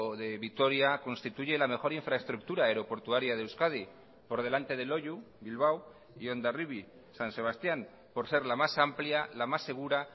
de vitoria constituye la mejor infraestructura aeroportuaria de euskadi por delante de loiu bilbao y hondarribi san sebastián por ser la más amplia la más segura